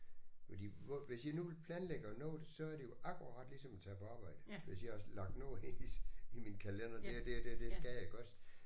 Fordi hvor hvis jeg nu planlægger noget så er det jo akkurat ligesom at tage på arbejde hvis jeg har lagt noget ind i i min kaldender det og det og det skal jeg iggås